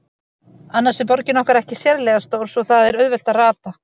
Annars er borgin okkar ekki sérlega stór, svo það er auðvelt að rata.